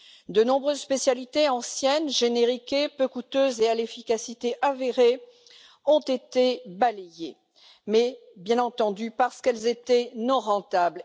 De nombreuses spécialités anciennes génériquées, peu coûteuses et à l'efficacité avérée ont été balayées, et ce, bien entendu, parce qu'elles étaient non rentables.